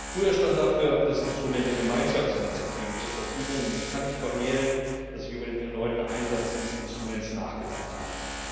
Früher stand dafür das Instrument der Gemeinschaftsinitiative zur Verfügung, und ich kann nicht verhehlen, dass ich über den erneuten Einsatz dieses Instruments nachgedacht habe.